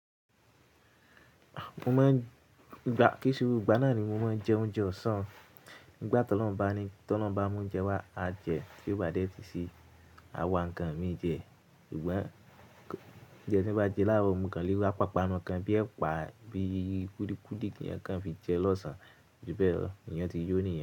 Mo máa ń gba, kíi se gbo igbá náà ni mo máa ń jẹ oúnjẹ ọ̀sán. Nígbà tọ́ lọhun bá ni, tọ́lohun bá mú oúnjẹ wá, a jẹ. Bí ó bá dé tun sí, a wá ǹkan mií jẹ. Sugbon oúnjẹ tí bá jẹ láàárọ̀, mo kan lé wa pàpánu kan bí ẹpa, bí i kúlíkúlí kíyan kan fi jeun lọ́sàn-án. Ju bẹ́ẹ̀ lọ, èèyàn ti yó niyen.